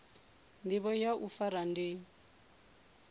ndivho ya u fara ndi